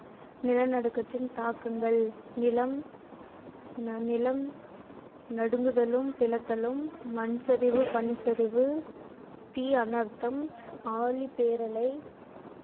நிலநடுக்கத்தின் தாக்கங்கள் நிலம் நிலம் நடுங்குதலும் பிளத்தலும் மண்சரிவு, பனிச்சரிவு, தீ அனர்தம், ஆழிப்பேரலை